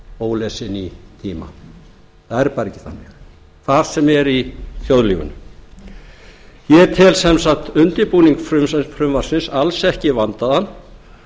ólesinn í tíma það er bara ekki þannig hvar sem er í þjóðlífinu ég tel sem sagt undirbúning frumvarpsins alls ekki vandaðan